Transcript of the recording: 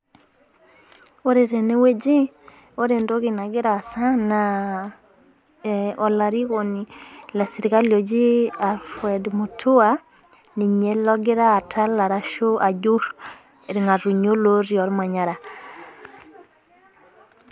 Ore teneweji ore entoki nagira aasa na olarikoni le serikali loji Alfred Mitua logira atal ashu ajuru irng'atunyo ooti omanyara.